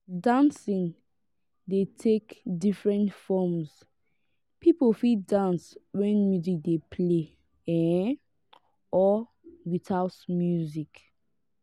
dancing dey take different forms pipo fit dance when music dey play um or without music